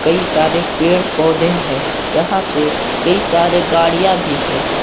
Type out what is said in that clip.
कई सारे पेड़ पौधे हैं यहां पे कई सारे गाड़ियां भी है।